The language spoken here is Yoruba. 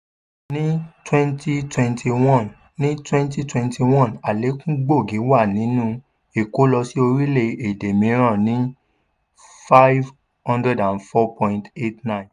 ní twenty twenty one ní twenty twenty one àlékún gbòógì wà nínú ìkó lọ sí orílẹ̀ èdè mìíràn ní # five hundred four point eight nine.